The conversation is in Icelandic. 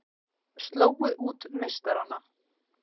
Slógu út meistarana